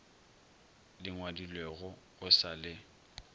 di ngwadilego go sa le